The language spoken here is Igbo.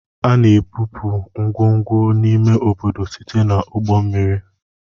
A na-ebupụ ngwongwo n'ime obodo site na ụgbọ mmiri.